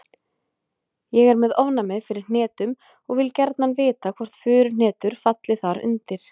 Ég er með ofnæmi fyrir hnetum og vil gjarnan vita hvort furuhnetur falli þar undir.